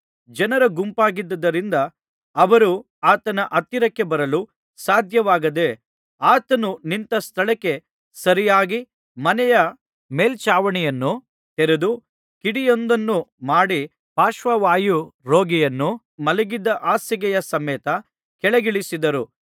ಜನರು ಗುಂಪಾಗಿದ್ದುದರಿಂದ ಅವರು ಆತನ ಹತ್ತಿರಕ್ಕೆ ಬರಲು ಸಾಧ್ಯವಾಗದೆ ಆತನು ನಿಂತ ಸ್ಥಳಕ್ಕೆ ಸರಿಯಾಗಿ ಮನೆಯ ಮೇಲ್ಛಾವಣಿಯನ್ನು ತೆರೆದು ಕಿಂಡಿಯೊಂದನ್ನು ಮಾಡಿ ಪಾರ್ಶ್ವವಾಯು ರೋಗಿಯನ್ನು ಮಲಗಿದ್ದ ಹಾಸಿಗೆಯ ಸಮೇತ ಕೆಳಗಿಳಿಸಿದರು